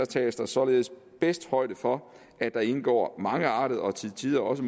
tages der således bedst højde for at der indgår mangeartede og til tider også